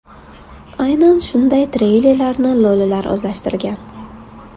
Aynan shunday treylerlarni lo‘lilar o‘zlashtirgan.